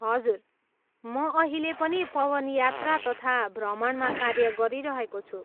हजुर, म अहिले पनि पवन यात्रा तथा भ्रमणमा कार्य गरिरहेको छु।